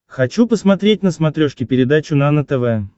хочу посмотреть на смотрешке передачу нано тв